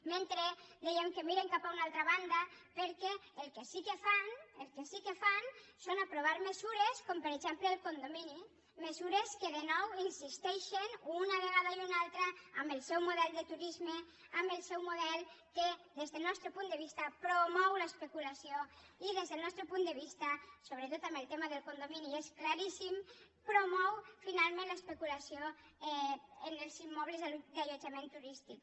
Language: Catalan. mentre dèiem que miren cap a una altra banda perquè el que sí que fan és aprovar mesures com per exemple el condomini mesures que de nou insisteixen una vegada i una altra en el seu model de turisme en el seu model que des del nostre punt de vista promou l’especulació i des del nostre punt de vista sobretot en el tema del condomini és claríssim promou finalment l’especulació en els immobles d’allotjament turístic